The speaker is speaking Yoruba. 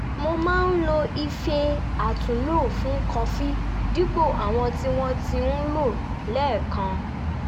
mo máa ń lo ife àtúnlò fún kọfí dípò àwọn tí wọ́n ń lò lẹ́ẹ̀kan